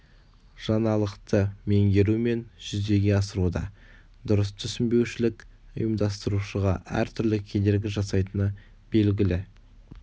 жаңалықты меңгеру мен жүзеге асыруда дұрыс түсінбеушілік ұйымдастырушыға әртүрлі кедергі жасайтыны белгілі